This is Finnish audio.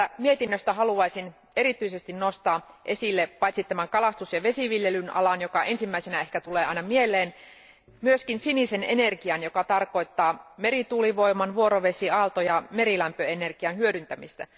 Tästä mietinnöstä haluaisin erityisesti nostaa esille, paitsi tämän kalastus ja vesiviljelyn alan, joka ensimmäisenä ehkä tulee aina mieleen, myöskin sinisen energian, joka tarkoittaa merituulivoiman ja vuorovesiaalto ja merilämpöenergian hyödyntämistä.